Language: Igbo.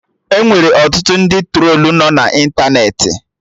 Enwere ọtụtụ ndị trolu nọ na ịntanetị